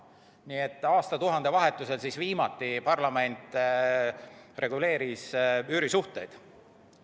Nii et aastatuhande vahetusel siis viimati parlament reguleeris üürisuhteid.